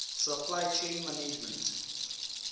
supply chain management